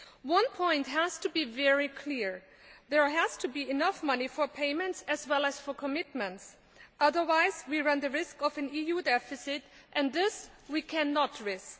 One point has to be very clear there has to be enough money for payments as well as for commitments, otherwise we run the risk of an EU deficit, and this we cannot risk.